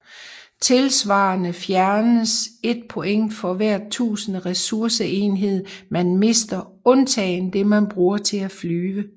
Tilsvarende fjernes et point for hvert tusinde ressourceenheder man mister undtagen det man bruger til at flyve